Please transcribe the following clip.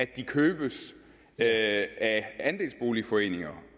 købes af andelsboligforeninger